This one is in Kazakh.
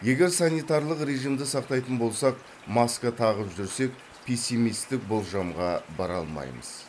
егер санитарлық режимді сақтайтын болсақ маска тағып жүрсек пессимистік болжамға бара алмаймыз